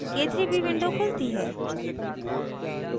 k3b window खुलती है